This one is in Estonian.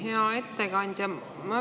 Hea ettekandja!